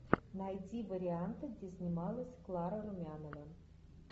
найти варианты где снималась клара румянова